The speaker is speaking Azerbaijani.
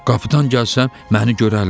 Qapıdan gəlsəm məni görərlər.